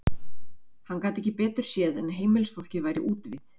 Hann gat ekki betur séð en heimilisfólkið væri úti við.